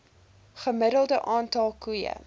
gemiddelde aantal koeie